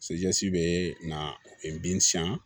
bɛ na n ben sɛn